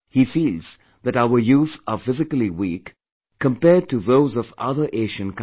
He feels that our youth are physically weak, compared to those of other Asian countries